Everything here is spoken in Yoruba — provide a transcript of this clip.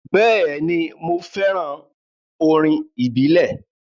Bẹẹni, Mo nifẹ orin ibile.